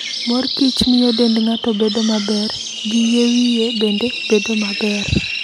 Mor kich miyo dend ng'ato bedo maber, gi yie wiye bende bedo maber.